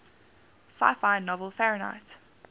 sci fi novel fahrenheit